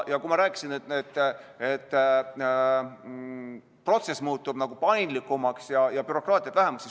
Ma rääkisin, et protsess muutub paindlikumaks ja bürokraatiat on vähem.